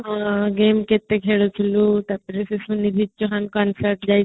ହଁ game କେତେ କ୍ଖେଳୁଥିଲୁ ତାପରେ consort ଯାଇଥିଲି